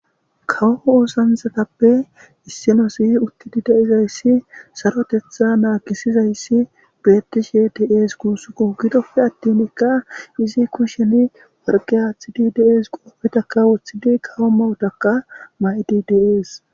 Kawo osanchchatape issi asi utidi deizaysi sarothetha nagisizaysi betishe dees gusiko. Gidope atinka izzi kushezi worqqe athidika dees qoobetaka wothidi kawo maayotaka maedi dees.